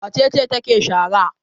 Wace ce take shara?